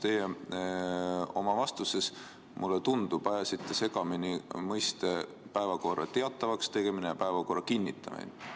Teie oma vastuses, mulle tundub, ajasite segamini mõisted "päevakorra teatavaks tegemine" ja "päevakorra kinnitamine".